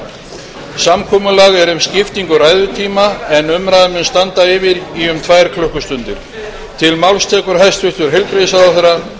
lítur svo á að samkomulag sé um að fundur geti staðið fram yfir klukkan átta ef nauðsynlegt er til að ljúka umræðu um sjöunda dagskrármálið um staðgöngumæðrun